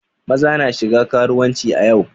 Maza na shiga karuwanci a yau.